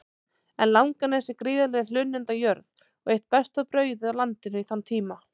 En Langanes er gríðarleg hlunnindajörð og eitt besta brauðið á landinu í þann tíma.